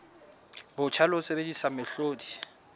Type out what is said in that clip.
botjha le ho sebedisa mehlodi